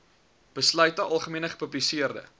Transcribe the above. besluite algemene gepubliseerde